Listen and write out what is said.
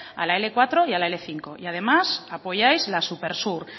a la ele cuatro y a la ele cinco y además apoyáis la supersur